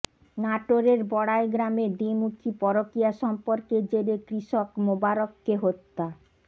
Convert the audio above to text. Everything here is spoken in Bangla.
নাটোরের বড়াইগ্রামে দ্বিমুখী পরকীয়া সম্পর্কের জেরে কৃষক মোবারককে হত্যা